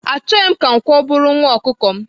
Achoghị m ka nkwọ buru nwa ọkukọ m.